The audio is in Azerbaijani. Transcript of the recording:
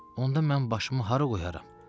Onda mən başımı hara qoyaram?